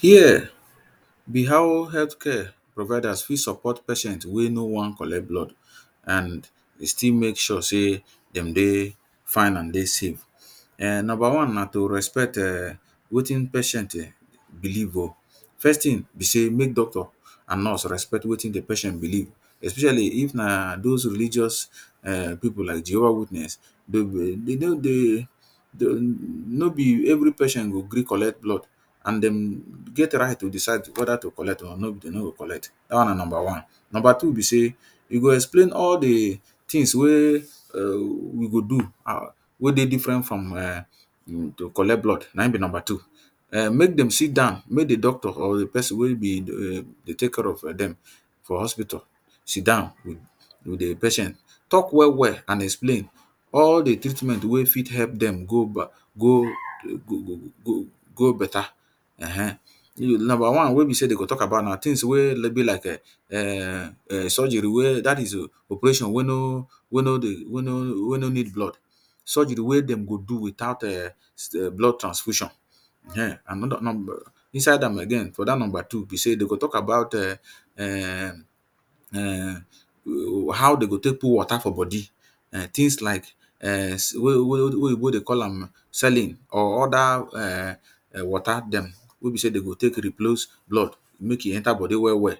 Here be how healthcare providers fit support patient wey no wan collect blood and they still make sure sey de dey fine and dey safe. um Number one na to respect um wetin patient um believe oh. First thing be sey, make doctor and nurse respect wetin the patient believe especially if na dos religious um pipu like Jehovah witness. They go just dey no be every patient go gree collect blood and dem get right to decide weda to collect or de no go collect. Dat one na number one. Number two be sey, you go explain all the things wey um you go do wey dey different from um to collect blood. Na im be number two. um Make dem sit down, make the doctor or pesin wey dey take care of dem for the hospital sit down with the patient talk well well and explain all the treatment wey fit help dem go go better um. Number one wey be sey de go talk about na thing wey be like um surgery wey dat is operation wey no wey no need blood. Surgery wey dem go do without um blood transfusion. um inside am again for dat number two be sey, they go talk about um how de go take put water for body. um Things like um wey Oyinbo dey call am saline or other um water dem wey be sey de go take replace blood. Make e enter body well well.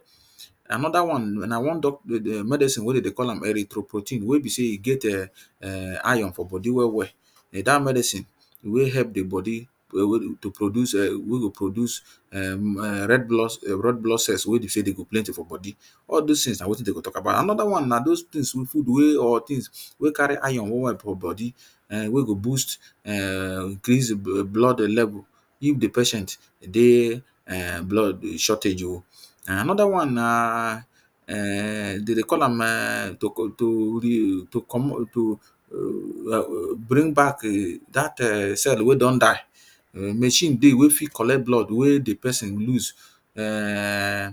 Another one na one medicine wey dem dey call am erythropoietin wey be sey e get um iron for body well well. Na dat medicine wey help the body to produce um when e produce um red blood, red blood cell, wey be sey de go plenty for body. All des things na wetin de go talk about. Another one na dos things wey carry iron well well for body um wey go boost um things increase blood level if the patient dey um blood shortage oh. um Another one na um de dey call am um um bring back dat um cell wey don die. Machine dey wey fit collect blood wey the pesin lose um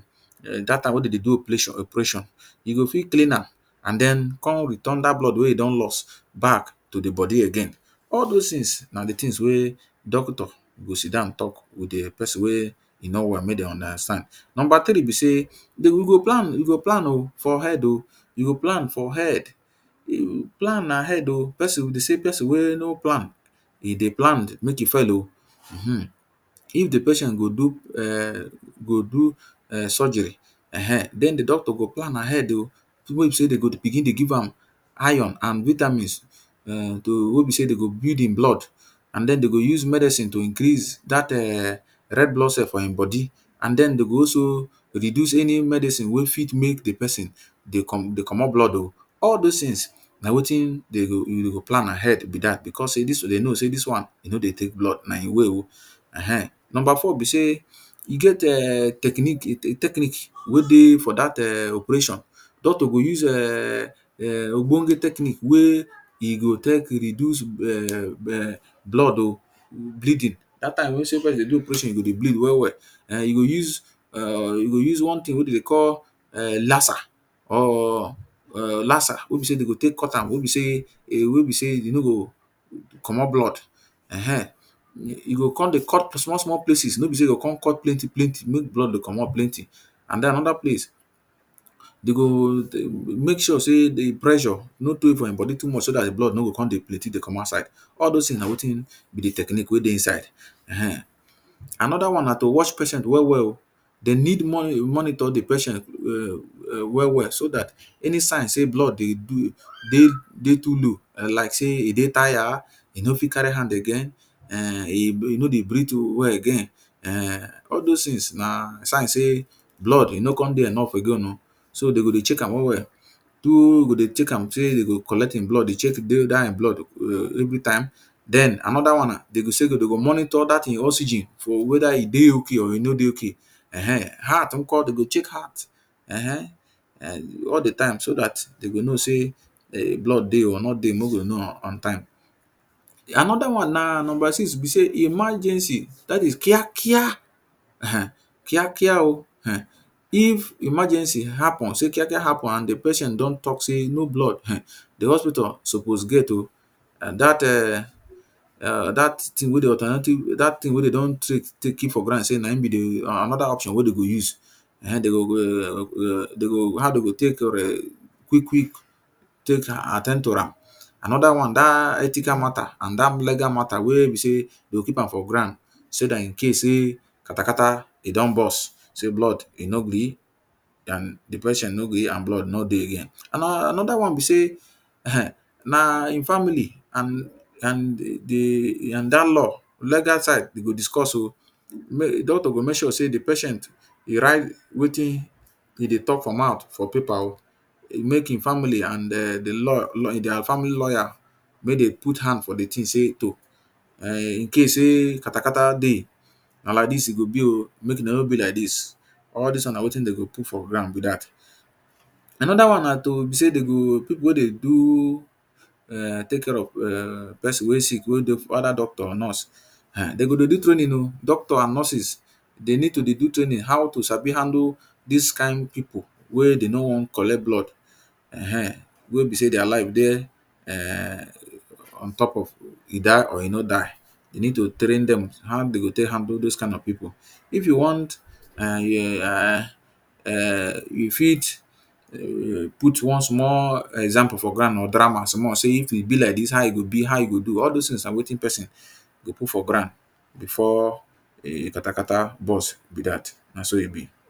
dat time wey de dey do operation operation. You go fit clean am and den con return dat blood wey you don don lost back to the body again. All dos things na the things wey doctor go sit down talk with the pesin wey e no wan make dem understand. Number three be sey de we go plan, we go plan oh, for head oh. You go plan for head. Plan na head oh. Pesin wey no plan, e dey plan make e fail oh[um]. If the patient go do um go do um surgery um den the doctor go plan ahead oh. Thing wey be sey, de go begin dey give am iron and vitamins um to wey be sey de go blood and den de go use medicine to increase dat um red blood cell for im body and den de go also reduce any medicine wey fit make the pesin dey dey comot blood oh. All des things na wetin dey you go you go plan ahead be dat because sey dis one e no dey take blood, na e way oh. um Number four be sey e get techniques wey dey for dat um operation. Doctor go use um ogbonge technique wey e go take reduce um blood oh bleeding. Dat time wey sey pesin dey do operation, e go dey bleed well well. um You go use um you go use one thing wey de dey call um laser or um laser wey be sey de go take cut am. Wey be sey, wey be sey you no go comot blood um. You go con dey cut small small places. No be sey you go con cut plenty plenty make blood dey comot plenty. And den another place, de go um make sure sey the pressure no tey for im body too much so dat blood no go con dey plenty dey come outside. All dos things na wetin be the technique wey dey inside um. Another one na to watch patient well well oh. They need monitor the patient um well well so dat any sign sey blood dey do dey dey too low like sey e dey tire, e no fit carry hand again, um e no dey breath well again um. All dos things na signs sey blood e no con dey enough again oh. So, they go dey check am well well. Two go dey check am say de go collect im blood, dey check dat im blood um every time. Den another one na, de go say, de go monitor dat e oxygen for weda e dey okay or e no dey okay[um]. Heart nko? De go check heart um all the time so dat de go know sey blood dey oh or no dey, make we know on on time. Another one na number six be sey emergency dat is kiakia um kiakia oh. um If emergency happen sey kiakia happen and the pesin don talk sey no blood um the hospital suppose get oh. And dat um dat thing wey dey alternative dat thing wey de don keep for ground sey na im be the um another option wey de go use. um De go how de go take quick quick take at ten d to am. Another one dat ethical matter and dat legal matter wey be sey de go keep am for ground so dat in case sey katakata e don burst sey blood e no gree um the patient no gree and blood no dey again. And another one be sey um na im family and and the and dat law legal side go discuss oh. Make, doctor go make sure sey patient e write wetin e dey talk for mouth for paper oh. Make e family and den the law their family lawyer, make dem put hand for the thing sey to um In case sey katakata dey, na like dis e go be oh. Make de no be like dis. All des ones na wetin de go put for ground be dat. Another ona na to be sey de go pipu wey dey do um take care of um pesin wey sick wey dey for under doctor or nurse. um De go dey do training oh. Doctor and nurses they need to dey do training how to sabi handle dis kind pipu wey they no wan collect blood. [um[] Wey be sey their life dey um on top of e die or e no die. They need to train dem on how dem go take handle dis kind of pipu. If you want um you fit um put one small example for ground or drama small. Sey if e be like dis how e go be? how you go do? All des things na wetin pesin dey put for ground before katakata burst be dat. Na so e be.